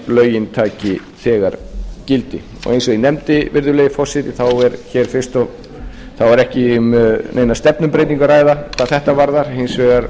lögin taki þegar gildi eins og ég nefndi virðulegi forseti er ekki um neina stefnubreytingu að ræða hvað þetta varðar hins vegar